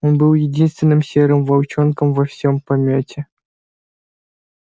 он был единственным серым волчонком во всём помёте